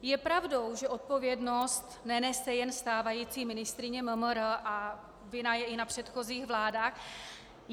Je pravdou, že odpovědnost nenese jen stávající ministryně MMR a vina je i na předchozích vládách.